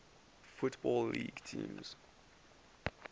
football league teams